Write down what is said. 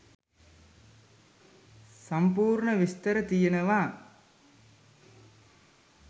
සම්පූර්ණ විස්තර තියෙනවා